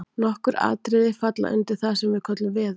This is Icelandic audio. nokkur atriði falla undir það sem við köllum „veður“